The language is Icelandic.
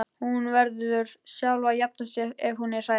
Hún verður sjálf að jafna sig ef hún er hrædd.